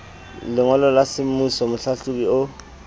lengolo la semmuso mohlahlobi o